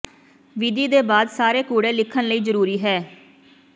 ਵਿਧੀ ਦੇ ਬਾਅਦ ਸਾਰੇ ਕੂੜੇ ਲਿਖਣ ਲਈ ਜ਼ਰੂਰੀ ਹੈ